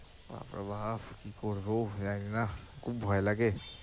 বাপরে বাপ! কি করবো? জানিনা খুব ভয় লাগে